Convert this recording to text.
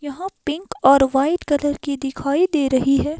यहाँ पिंक और white colour की दिखाई दे रही है।